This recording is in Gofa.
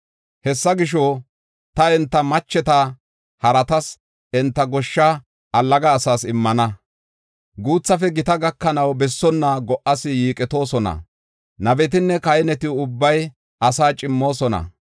Hessa gisho, ta enta macheta haratas, enta goshsha allaga asas immana. Guuthafe gita gakanaw bessonna go77as yiiqetoosona. Nabetinne kahineti ubbay asaa cimmoosona.